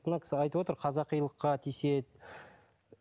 мына кісі айтып отыр қазақилыққа тиіседі